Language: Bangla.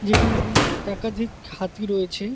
যেখানেও একাধিক হাতি রয়েছে।